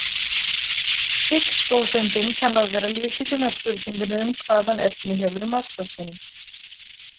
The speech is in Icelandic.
Higgs-bóseindin kann að vera lykillinn að spurningunni um hvaðan efni hefur massa sinn.